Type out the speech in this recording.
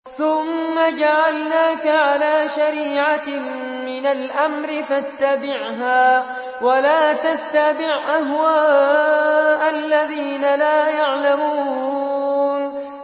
ثُمَّ جَعَلْنَاكَ عَلَىٰ شَرِيعَةٍ مِّنَ الْأَمْرِ فَاتَّبِعْهَا وَلَا تَتَّبِعْ أَهْوَاءَ الَّذِينَ لَا يَعْلَمُونَ